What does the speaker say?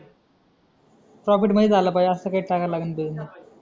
profit मध्ये चालला पाहिजे असं काही टाकायला लागेल त्याच्यात